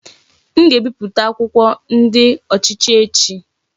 M ga-ebipụta akwụkwọ ndi ochichi echi.